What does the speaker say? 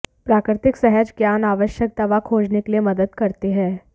प्राकृतिक सहज ज्ञान आवश्यक दवा खोजने के लिए मदद करते हैं